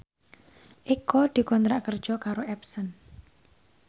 Eko dikontrak kerja karo Epson